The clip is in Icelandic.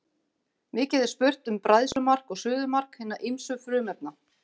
Mikið er spurt um bræðslumark og suðumark hinna ýmsu frumefna.